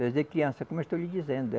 Desde criança, como estou lhe dizendo.